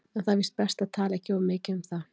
En það er víst best að tala ekki of mikið um það.